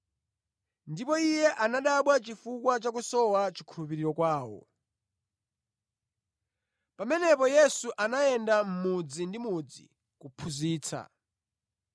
Ndipo Iye anadabwa chifukwa chakusowa chikhulupiriro kwawo. Yesu Atuma Ophunzira Khumi ndi Awiri Pamenepo Yesu anayenda mudzi ndi mudzi kuphunzitsa.